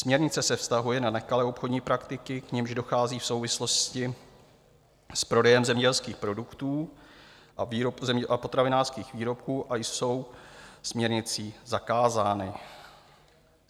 Směrnice se vztahuje na nekalé obchodní praktiky, k nimž dochází v souvislosti s prodejem zemědělských produktů a potravinářských výrobků a jsou směrnicí zakázány.